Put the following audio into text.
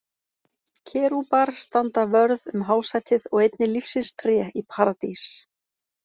Kerúbar standa vörð um hásætið og einnig lífsins tré í Paradís.